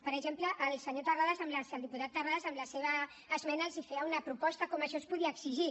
per exemple el senyor terrades el diputat terrades amb la seva esmena els feia una proposta de com això es podia exigir